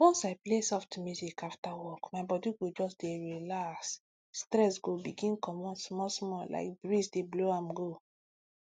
once i play soft music after work my body go just dey relax stress go begin comot small small like breeze dey blow am go